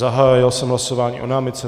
Zahájil jsem hlasování o námitce.